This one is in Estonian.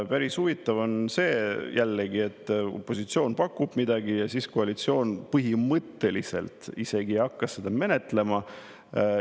Päris huvitav on see jällegi, et kui opositsioon pakub midagi, siis koalitsioon põhimõtteliselt isegi ei hakka seda menetlema.